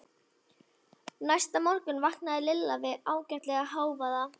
Næsta morgun vaknaði Lilla við ægilegan hávaða.